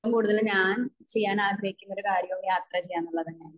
ഏറ്റവും കൂടുതൽ ഞാൻ ചെയ്യാൻ ആഗ്രഹിക്കുന്ന ഒരു കാര്യം യാത്ര ചെയ്യാനുള്ളത് തന്നെയാണ്